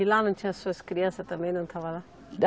E lá não tinha suas crianças também, não estava lá?